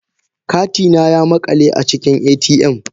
Kati na ya makale a cikin ATM